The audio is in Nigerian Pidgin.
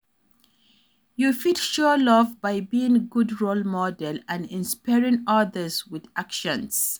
You fit show love by being a good role model and inspring others with actions,